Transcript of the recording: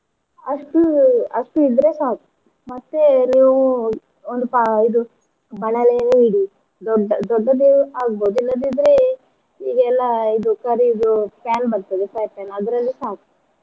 ಅಷ್ಟು ಅಷ್ಟು ಇದ್ರೆ ಸಾಕು ಮತ್ತೆ ಎಲ್ಲವೂ ಒಂದು ಪಾ~ ಇದು ಬಾಣಲೇಯನ್ನು ಇಡಿ ದೊಡ್ಡ ದೊಡ್ಡದು ಆಗ್ಬೋದು ಇಲ್ಲದಿದ್ರೆ ಈಗೆಲ್ಲ ಇದು curry ದು pan ಬರ್ತದೆ ಅದ್ರಲ್ಲೂ ಸಾ.